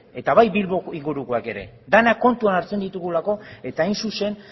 eta bai bilbo ingurukoak ere denak kontuan hartzen ditugulako eta hain zuzen